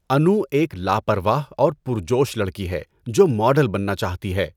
انو ایک لاپرواہ اور پرجوش لڑکی ہے جو ماڈل بننا چاہتی ہے۔